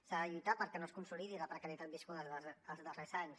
s’ha de lluitar perquè no es consolidi la precarietat viscuda els darrers anys